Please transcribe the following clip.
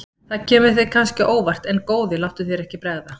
Það kemur þér kannski á óvart en góði láttu þér ekki bregða.